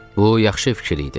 Bu yaxşı fikir idi.